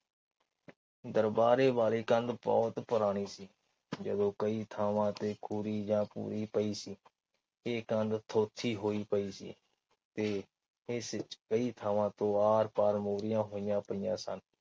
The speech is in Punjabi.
ਦਰਬਾਰੇ ਵਾਲੀ ਕੰਧ ਬਹੁਤ ਪੁਰਾਣੀ ਸੀ ਜਦੋ ਕਈ ਥਾਵਾਂ ਤੇ ਪਈ ਸੀ ਇਹ ਕੰਧ ਥੋਥੀ ਹੋਈ ਪਈ ਸੀ ਤੇ ਇਸ ਚ ਕਈ ਥਾਵਾਂ ਤੋਂ ਆਰ ਪਾਰ ਮੋਰੀਆਂ ਹੋਈਆਂ ਪਈਆਂ ਸਨ।